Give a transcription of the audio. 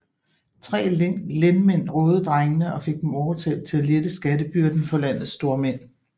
Tre lendmænd rådede drengene og fik dem overtalt til at lette skattebyrden for landets stormænd